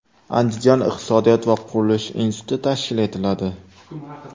Andijon iqtisodiyot va qurilish instituti tashkil etiladi.